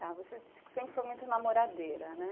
Tá, você disse que sempre foi muito namoradeira, né?